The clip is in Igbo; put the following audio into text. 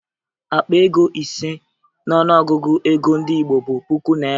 Akpa ego ise n'ọnụọgụgụ ego ndị Igbo bụ puku naịra